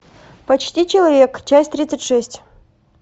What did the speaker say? почти человек часть тридцать шесть